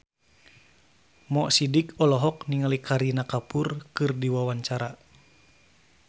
Mo Sidik olohok ningali Kareena Kapoor keur diwawancara